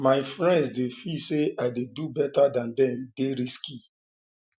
my friends dey feel say i dey do beta dan dem e dey risky